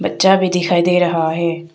बच्चा भी दिखाई दे रहा है।